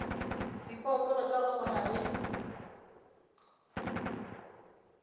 diphoofolo tša go swana le